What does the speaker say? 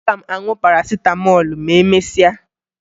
Aga m aṅụ Parasịtamọọlụ ma emesịa